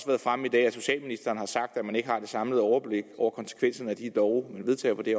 været fremme i dag at socialministeren har sagt at man ikke har det samlede overblik over konsekvenserne af de love man vedtager på det